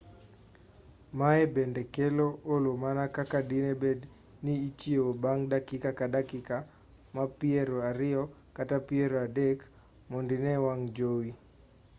maye bende kelo olo mana kaka dine bed ni ichiewo bang' dakika ka dakika mar piero ariyo kata piero adek mondo ine wang' jowi